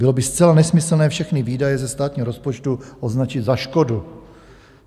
Bylo by zcela nesmyslné všechny výdaje ze státního rozpočtu označit za škodu.